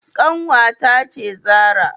Kanwata ce Zarah.